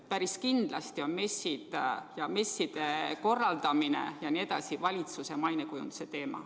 Päris kindlasti on messid ja nende korraldamine valitsuse mainekujunduse teema.